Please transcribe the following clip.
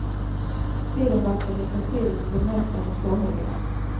Tiden verkar räcka till det mesta för somliga.